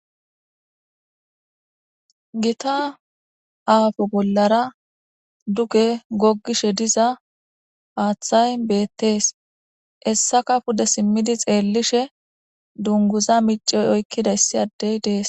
Gita aafo bollara duge goggishe diza haaththay beettees essaka pude simmidi xeellishe dunguza micey oykkidayssi addey dees.